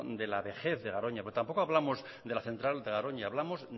de la vejez de garoña porque tampoco hablamos de la central de garoña hablamos